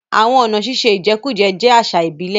Àwọn ọ̀nà ṣíṣe ìjẹkújẹ jẹ́ àṣà ìbílẹ̀.